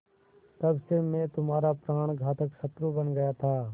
तब से मैं तुम्हारा प्राणघातक शत्रु बन गया था